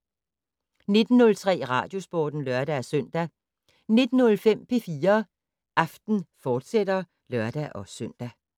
19:03: Radiosporten (lør-søn) 19:05: P4 Aften, fortsat (lør-søn)